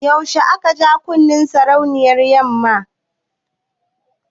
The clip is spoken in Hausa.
Yaushe ne aka ja kunnen sarauniyar 'yanmata?